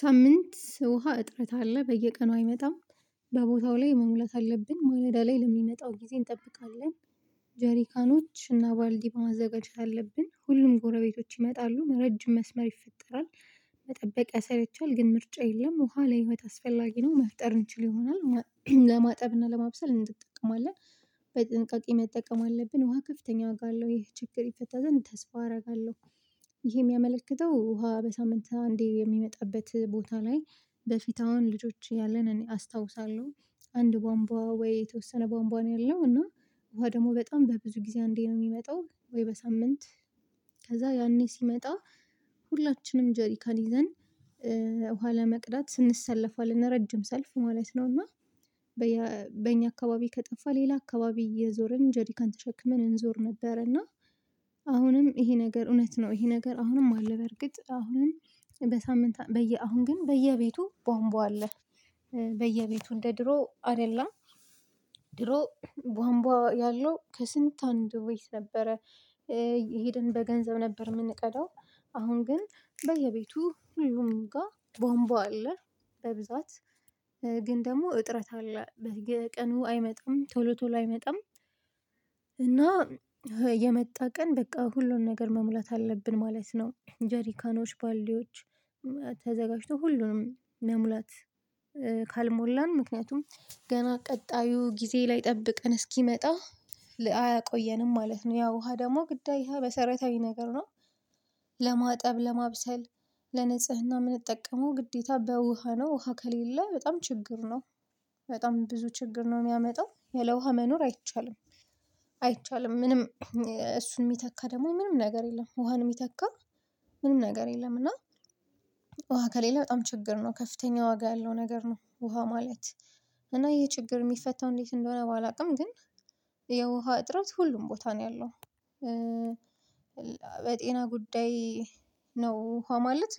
ሳምንት ውሃ እጥረት አለ በየቀኑ አይመጣም። በቦታው ላይ መሙለት አለብኝ ማለዳ ላይ ለሚመጣው ጊዜ እንጠብቃለን። ጀሪካኖች እና ባልዲ በማዘጋጀት አለብን ሁሉም ጎረቤቶች ይመጣሉ ረጅም መስመር ይፈጠራል። መጠበቅ ያሰለቻል ግን ምርጫ የለም። ውሃ ለህይወት አስፈላጊ ነው መፍጠር እንችል ይሆናል። ለማጠብና ለማብሰል እንጠቀማለን። በጥንቃቄ መጠቀም አለብን ውሃ ከፍተኛ ዋጋ አለው። ይሄ ችግር ይፈታ ዘንድ ተስፋ አረጋለው። ይሄ ሚያመለክተው ውሃ በሳምንት አንዴ የሚመጣበት ቦታ ላይ በፊታ አውን ልጆች እያለን እኔ አስታውሳለው። አንድ ቧንቧ ወይ የተወሰነ ቧንቧ ነው ያለው እና። ውሃ ደሞ በጣም በብዙ ጊዜ አንዴ ነው ሚመጣው ወይ በሳምንት? ከዛ ያኔ ሲመጣ ሁላችንም ጀሪካን ይዘን ውሃ ለመቅዳት እንሰለፋለን ረጅም ሰልፍ ማለት ነው። እና በኛ አካባቢ ከጠፋ ሌላ አካባቢ እየዞርን ጀሪካን ተሸክመን እንዞር ነበር እና። አሁንም ይሄ ነገር እውነት ነው። ይሄ ነገር አሁንም አለ በርግጥ አሁንም በሳምንት በየ አሁን ግን በየቤቱ ቧንቧ አለ። በየቤቱ እንደ ድሮ አደለም። ድሮ ቧንቧ ያለው ከስንት አንድ ወይስ ነበረ? እየሄድን በገንዘብ ነበር ምንቀዳው። አሁን ግን በየቤቱ ሁሉም ጋ ቧንቧ አለ። በብዛት ግን ደሞ እጥረት አለ በየቀኑ አይመጣም ቶሎ ቶሎ አይመጣም። እና የመጣ ቀን በቃ ሁሉን ነገር መሙላት አለብን ማለት ነው። ጀሪካኖች ባልዲዎች ተዘጋጅቶ ሁሉንም መሙላት። ካልሞላን ምክንያቱም ገና ቀጣዩ ጊዜ ላይ ጠብቀን እስኪመጣ አያቆየንም ማለት ነው። ያው ውሃ ደሞ ግዳይ ሀ መሰረታዊ ነገር ነው። ለማብሰል ለንጽህና ምንጠቀመው ግዴታ በውሃ ነው ውሃ ከሌለ በጣም ችግር ነው። በጣም ብዙ ችግር ነው ሚያመጣው ያለውሃ መኖር አይቻልም። አይቻልም ምንም እሱን ሚተካ ደግሞ ምንም ነገር የለም። ውሃን ሚተካ ምንም ነገር የለም። እና ውሃ ከሌለ በጣም ችግር ነው ከፍተኛ ዋጋ ያለው ነገር ነው። ውሃ ማለት። እና ይሄ ችግር ሚፈታው እንዴት እንደሆነ ባላቅም ግን። የውሃ እጥረት ሁሉም ቦታ ነው ያለው። በጤና ጉዳይ ነው ውሃ ማለት።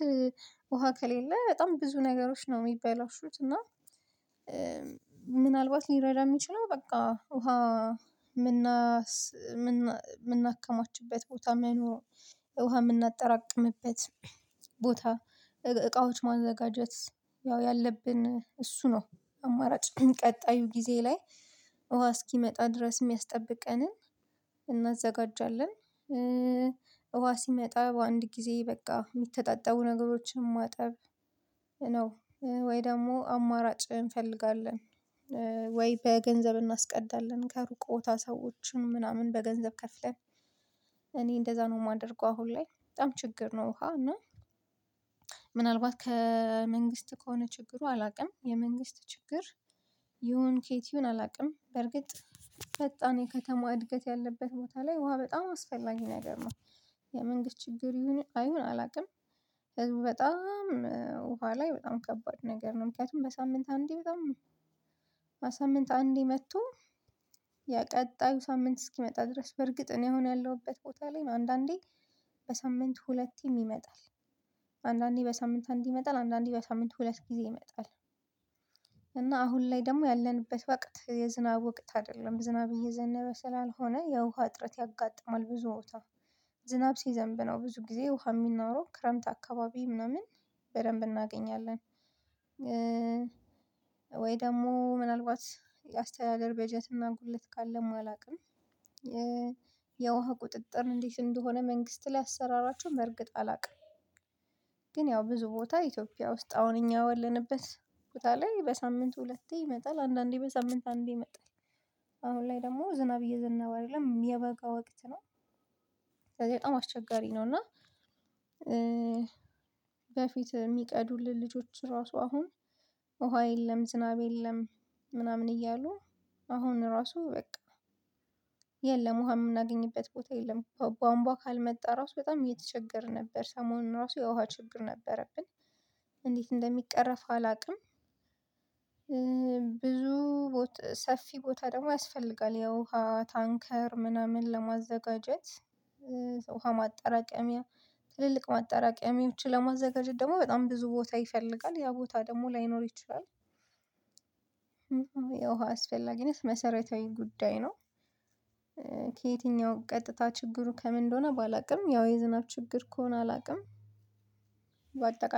ውሃ ከሌለ በጣም ብዙ ነገሮች ነው ሚበላሹት እና። ምናልባት ሊረዳ ሚችለው በቃ ውሃ። ምናከማችበት ቦታ መኖሩ ውሃ ምናጠራቅምበት ቦታ እቃዎች ማዘጋጀት ያው ያለብን እሱ ነው። አማራጭ ቀጣዩ ጊዜ ላይ ውሃ እስኪመጣ ድረስ ሚያስጠብቀንን እናዘጋጃለን። ውሃ ሲመጣ በአንድ ጊዜ በቃ ሚተጣጠቡ ነገሮችን ማጠብ ነው። ወይ ደሞ አማራጭ እንፈልጋለን። ወይ በገንዘብ እናስቀዳለን ከሩቅ ቦታ ሰዎችን ምናምን በገንዘብ ከፍለን። እኔ እንደዛ ነው ማደርገው አሁን ላይ በጣም ችግር ነው ውሃ እና። ምናልባት ከመንግስት ከሆነ ችግሩ አላቅም የመንግስት ችግር ይሁን ኬት ይሁን አላቅም በርግጥ። ፈጣን የከተማ እድገት ያለበት ቦታ ላይ ውሃ በጣም አስፈላጊ ነገር ነው። የመንግስት ችግር ይሁን አይሁን አላቅም። በጣም ውሃ ላይ በጣም ከባድ ነገር ነው። ምክንያቱም በሳምንት አንዴ በጣም። በሳምንት አንዴ መቶ። የቀጣዩ ሳምንት እስኪመጣ ድረስ በርግጥ እኔ አሁን ያለሁበት ቦታ ላይ አንዳንዴ በሳምንት ሁለቴም ይመጣል። አንዳንዴ በሳምንት አንዴ ይመጣል አንዳንዴ በሳምንት ሁለት ጊዜ ይመጣል። እና አሁን ላይ ደሞ ያለንበት ወቅት የዝናብ ወቅት አደለም ዝናብ እየዘነበ ስላልሆነ የውሃ እጥረት ያጋጥማል ብዙ ቦታ። ዝናብ ሲዘንብ ነው ብዙ ጊዜ ውሃ ሚኖረው ክረምት አካባቢ ምናምን በደንብ እናገኛለን። ወይ ደሞ ምናልባት የአስተዳደር በጀትና ጉድለት ካለም አላውቅም። የውሃ ቁጥጥር እንዴት እንደሆነ መንግስት ላይ አሰራራቹ በእርግጥ አላቅም። ግን ያው ብዙ ቦታ ኢትዮጵያ ውስጥ አሁን እኛ ወለንበት ቦታ ላይ በሳምንት ሁለቴ ይመጣል አንዳንዴ በሳምንት አንዴ ይመጣል። አሁን ላይ ደሞ ዝናብ እየዘነበ አደለም የበጋ ወቅት ነው። ስለዚ በጣም አስቸጋሪ ነው እና። በፊት ሚቀዱልን ልጆች ራሱ አሁን ውሃ የለም ዝናብ የለም። ምናምን እያሉ አሁን ራሱ በቃ የለም ውሃ ምናገኝበት ቦታ የለም ቧንቧ ካልመጣ ራሱ በጣም እየተቸገርን ነበር ሰሞኑን ራሱ የውሃ ችግር ነበረብን። እንዴት እንደሚቀረፍ አላቅም። ብዙ ሰፊ ቦታ ደሞ ያስፈልጋል የውሃ ታንከር ምናምን ለማዘጋጀት። ውሃ ማጠራቀሚያ ትልልቅ ማጠራቀሚዎችን ለማዘጋጀት ደሞ በጣም ብዙ ቦታ ይፈልጋል ያ ቦታ ደሞ ላይኖር ይችላል። የውሃ አስፈላጊነት መሰረታዊ ጉዳይ ነው። ከየትኛውም ቀጥታ ችግሩ ከምን እንደሆነ ባላቅም ያው የዝናብ ችግር ከሆነ አላቅም። በአጠቃላይ